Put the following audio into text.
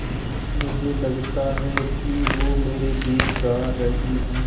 मुझे लगता है कि वो मेरे लिये गा रहीं हैँ